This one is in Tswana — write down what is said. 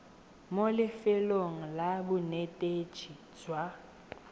mo lefelong la bonetetshi jwa